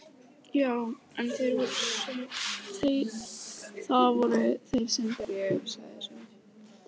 Já en, það voru þeir sem byrjuðu, sagði Svenni.